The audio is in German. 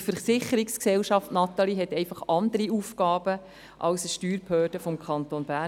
Zudem: Eine Versicherungsgesellschaft, Natalie Imboden, hat einfach andere Aufgaben als eine Steuerbehörde des Kantons Bern.